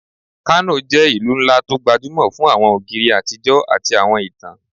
Kano jẹ́ ìlú ńlá tó gbajúmọ̀ fún àwọn ògiri àtijọ́ àti àwọn ìtàn